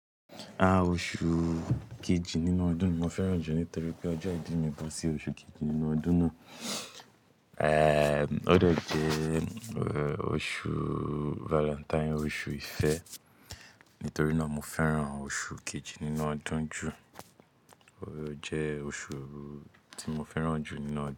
A, oṣù kejì nínú ọdún mo fẹ́ràn jù nítorí pé ọjọ́ ìbí mi bọ́ sí oṣù kejì nínú ọdún náà. Ee, ó dẹ̀ jẹ́ oṣù valentine, oṣù ìfẹ́. Nítorí náà mo fẹ́ràn oṣù kejì nínú ọdún jù. Ó jẹ́ oṣù tí mo fẹ́ràn jù nínú ọdún.